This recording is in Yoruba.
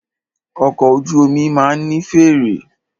Ọkọ̀ ojú omi máà ní fèèrè.